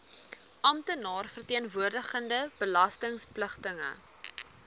amptenaar verteenwoordigende belastingpligtige